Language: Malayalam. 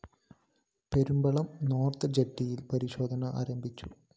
പെരുമ്പളം നോർത്ത്‌ ജെട്ടിയില്‍ പരിശോധന ആരംഭിച്ചു